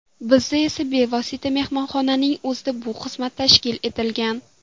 Bizda esa bevosita mehmonxonaning o‘zida bu xizmat tashkil etilgan.